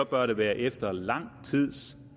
bør det være efter lang tids